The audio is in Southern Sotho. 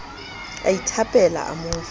a ithapela a mo fa